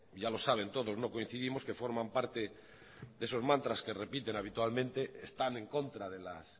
ya lo saben todos no coincidimos que forman parte de esos mantras que repiten habitualmente están en contra de las